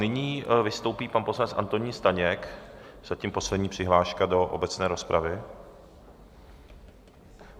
Nyní vystoupí pan poslanec Antonín Staněk, zatím poslední přihláška do obecné rozpravy.